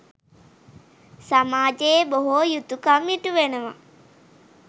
සමාජයේ බොහෝ යුතුකම් ඉටුවනවා.